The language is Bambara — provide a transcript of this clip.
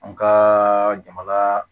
An ka jamana